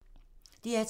DR2